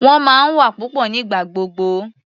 Wọ́n máa ń wà papọ̀ nígbà gbogbo.